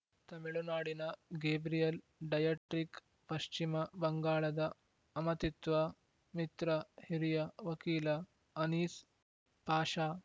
ತಮಿಳುನಾಡಿನ Gabriel Dietrich ಪಶ್ಚಿಮ ಬಂಗಾಳದ ಅಮತತ್ವ ಮಿತ್ರ ಹಿರಿಯ ವಕೀಲ ಅನೀಸ್‌ ಆಷಾ